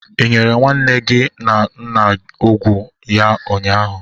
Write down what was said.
Ị nyere nwanne gị na nna ọgwụ ya ụnyaahụ?